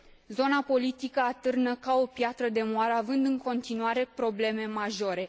Zona politică atârnă ca o piatră de moară, având în continuare probleme majore.